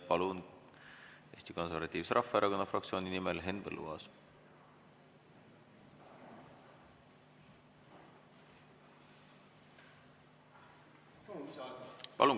Palun, Eesti Konservatiivse Rahvaerakonna fraktsiooni nimel Henn Põlluaas!